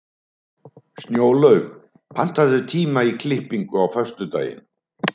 Snjólaug, pantaðu tíma í klippingu á föstudaginn.